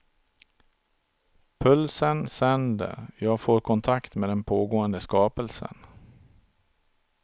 Pulsen sänder, jag får kontakt med den pågående skapelsen.